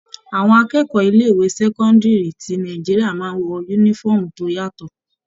Àwọn akẹ́kọ̀ọ́ ilé ìwé sẹ́cọ́ndírì ti Nàìjíríà máa ń wọ uniform tó yàtọ̀.